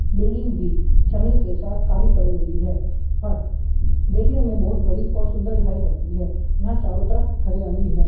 Building भी समय के साथ काली पड़ गयी है पर उः देखने मे बहोत बड़ी और सुन्दर दिखाई पड़ती है यहा चारो तरफ हरियाली है।